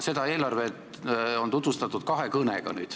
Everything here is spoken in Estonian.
Seda eelarvet on nüüd tutvustatud kahes kõnes.